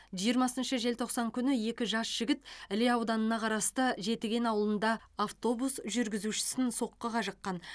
жиырмасыншы желтоқсан күні екі жас жігіт іле ауданына қарасты жетіген ауылында автобус жүргізушісін соққыға жыққан